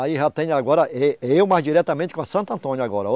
Aí já tenho agora, ê eu mas diretamente com a Santo Antônio agora.